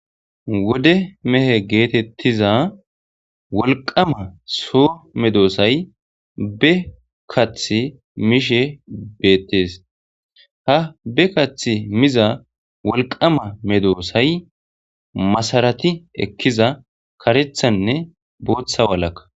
wode mehe geetettiza wolqama soo medoosay be kath mishe beettes ha be kath miza wolqama medoosay masarati ekkiza karethanne bootha walaka